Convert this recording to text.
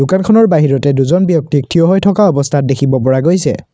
দোকানখনৰ বাহিৰতে দুজন ব্যক্তিক থিয় হৈ থকা অৱস্থাত দেখিব পৰা গৈছে।